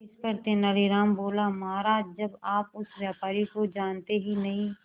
इस पर तेनालीराम बोला महाराज जब आप उस व्यापारी को जानते ही नहीं